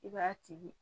I b'a tigi